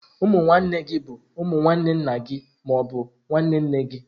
Ụmụ nwanne gi bụ umu nwanne nna gị ma ọ bụ nwanne nne gị.